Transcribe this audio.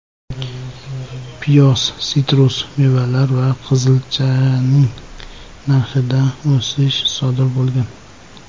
Piyoz, sitrus mevalar va qizilchaning narxida o‘sish sodir bo‘lgan.